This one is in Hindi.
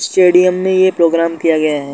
स्टेडियम में ये प्रोग्राम किया गया है।